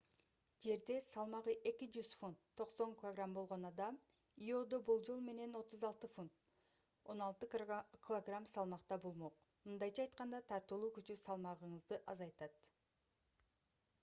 жерде салмагы 200 фунт 90 кг болгон адам иодо болжол менен 36 фунт 16 кг салмакта болмок. мындайча айтканда тартылуу күчү салмагыңызды азайтат